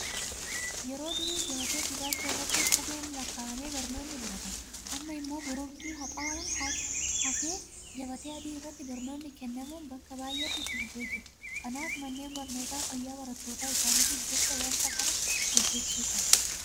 Yeroo durii gabatee gurraacha irratti qubeen lakkaa'amee barnoonni baratama. Amma immoo boroonqii haxaa'uun hafee gabatee adii irratti barnoonni kennamuun bakka baay'eetti itti fufee jira. Kanaaf manneen barnootaa fayyaa barattoota isaaniitiif jecha waanta kana hojjechuu qabu.